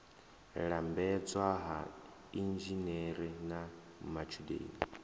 lambedzwa ha inzhinere na matshudeni